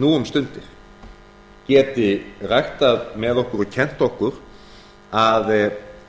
nú um stundir geti ræktað með okkur og kennt okkur að